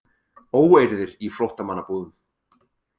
Óeirðir í flóttamannabúðum